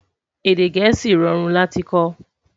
Èdè gèésì rọrùn láti kò